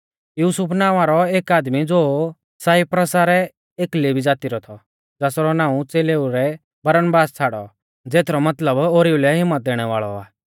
युसुफ नावां रौ एक आदमी ज़ो साइप्रसा रै एक लेवी ज़ाती रौ थौ ज़ासरौ नाऊं च़ेलेऊ ऐ बरनबास छ़ाड़ौ ज़ेथरौ मतलब ओरीऊ लै हिम्मत दैणै वाल़ौ आ